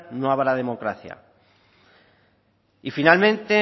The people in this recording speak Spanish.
no habrá democracia y finalmente